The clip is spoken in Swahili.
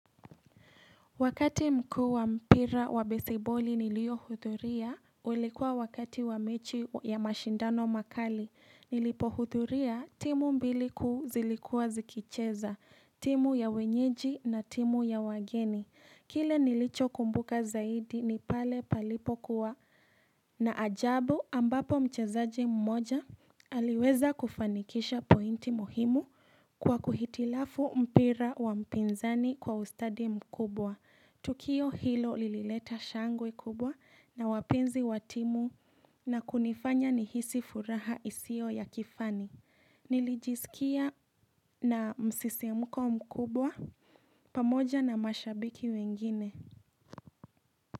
Wakati mkuu wa mpira wa besiboli niliohudhuria ulikuwa wakati wa mechi ya mashindano makali nilipohudhuria timu mbili kuu zilikuwa zikicheza timu ya wenyeji na timu ya wageni kile nilicho kumbuka zaidi ni pale palipokuwa na ajabu ambapo mchezaji mmoja aliweza kufanikisha pointi muhimu kwa kuhitilafu mpira wa mpinzani kwa ustadi mkubwa Tukio hilo lilileta shangwe kubwa na wapenzi watimu na kunifanya nihisi furaha isio ya kifani Nilijiskia na msisimuko mkubwa pamoja na mashabiki wengine.